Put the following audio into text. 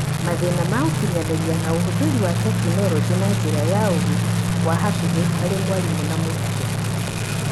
Mathĩna ma ũkinyanĩria, na ũhũthĩri wa tekinoronjĩ na njĩra ya ũgĩ wa hakiri harĩ mwarimũ na mũrutwo.